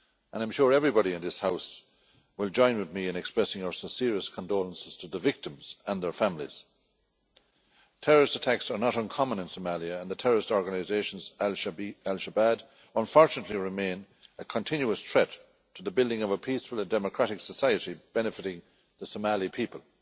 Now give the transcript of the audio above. I am sure everybody in this House will join with me in expressing our sincerest condolences to the victims and their families. Terrorist attacks are not uncommon in Somalia and the terrorist organisation al Shabaab unfortunately remains a continuous threat to the building of a peaceful and democratic society benefiting the Somali people.